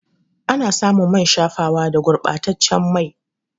Ana samun man shafawa da gurba taccen mai